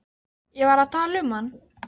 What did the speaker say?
Ég var að tala um hann.